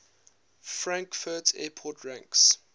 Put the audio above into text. frankfurt airport ranks